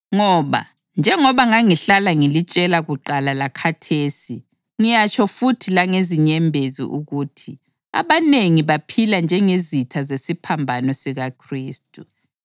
Ngoba, njengoba ngangihlala ngilitshela kuqala lakhathesi ngiyatsho futhi langezinyembezi ukuthi abanengi baphila njengezitha zesiphambano sikaKhristu.